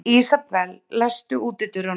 Ísabel, læstu útidyrunum.